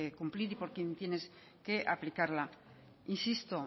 cumplir y por quienes tienen que aplicarla insisto